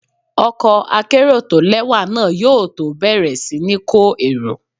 Ọkọ̀ akérò tó lẹ́wà náà yóò tó bẹ̀rẹ̀ sí ní kó èrò.